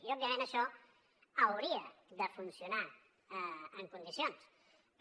i òbviament això hauria de funcionar en condicions però